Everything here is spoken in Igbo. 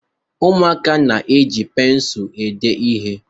Ụmụaka na-eji pensụl ede ihe.